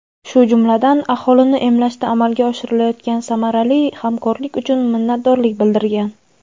shu jumladan aholini emlashda amalga oshirilayotgan samarali hamkorlik uchun minnatdorlik bildirilgan.